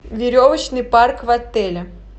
веревочный парк в отеле